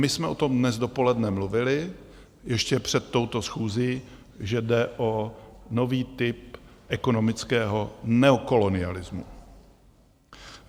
My jsme o tom dnes dopoledne mluvili ještě před touto schůzí, že jde o nový typ ekonomického neokolonialismu.